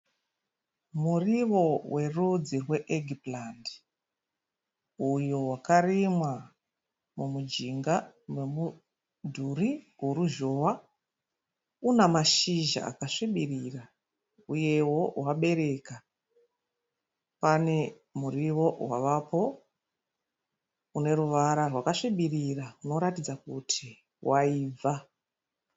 Muriwo werudzi rweegipurandi. Uyo wakarimwa mumujinga memudhuri woruzhowa. Une mashizha akasvibirira uyewo wakabereka. Pane muriwo wavapo uneruvara rwakasvibirira unoratidza kuti waibva.